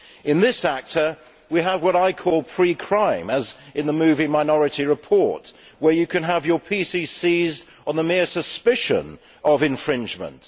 In this ACTA, we have what I call pre crime', as in the movie Minority Report where you can have your PCCs on the mere suspicion of infringement.